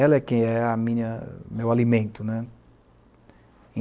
Ela é quem é a minha o meu alimento.